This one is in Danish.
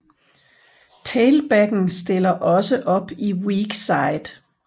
Tailbacken stiller også op i weak side